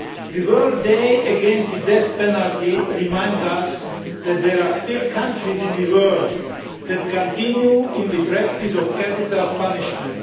The World day against the death penalty reminds us that there are still countries in the world that continue in the practice of capital punishment.